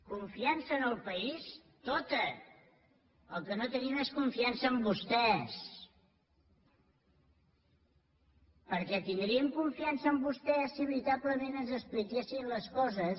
confiança en el país tota el que no tenim és confiança en vostès perquè tindríem confiança en vostès si veritablement ens expliquessin les coses